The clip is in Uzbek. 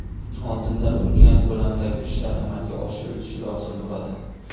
Oldinda ulkan ko‘lamdagi ishlar amalga oshirilishi lozim bo‘ladi.